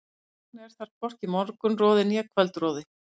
Þess vegna er þar hvorki morgunroði né kvöldroði.